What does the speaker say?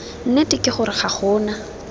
nnete ke gore ga gona